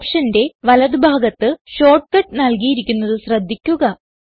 ഓപ്ഷന്റെ വലത് ഭാഗത്ത് ഷോർട്ട്കട്ട് നൽകിയിരിക്കുന്നത് ശ്രദ്ധിക്കുക